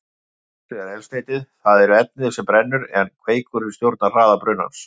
Kertavaxið er eldsneytið, það er efnið sem brennur, en kveikurinn stjórnar hraða brunans.